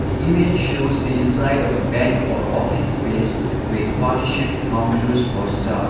the image shows the inside of a bank or office space with partitioned counters or staff.